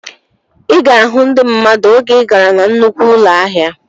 Ị ga-ahụ ndị mmadụ oge ị gara na nnukwu ụlọ ahịa